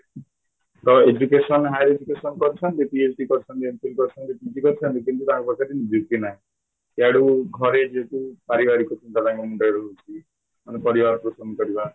ତ education higher education କରିଛନ୍ତି PHDକରିଛନ୍ତି MPIL କରିଛନ୍ତି PG କରିଛନ୍ତି କିନ୍ତୁ ତାଙ୍କ ପାଖରେ ନିଯୁକ୍ତି ନାହିଁ ଇଆଡ଼େ ଘରେ ଯେହେତୁ ପାରିବାରିକ ଚିନ୍ତା ମୁଣ୍ଡରେ ରହୁଛି ମାନେ ପରିବାର ପୋଷଣ କରିବା